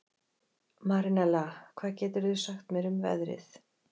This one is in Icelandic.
Marinella, hvað geturðu sagt mér um veðrið?